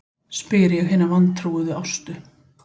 spyr ég hina vantrúuðu Ástu.